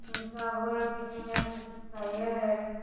चावल कथैया सी कुछ खाया है।